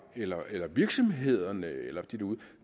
eller eller virksomhederne